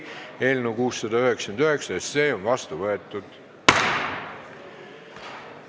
Eelnõu 699 on seadusena vastu võetud.